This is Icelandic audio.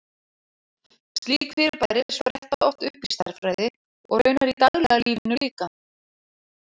Slík fyrirbæri spretta oft upp í stærðfræði, og raunar í daglega lífinu líka.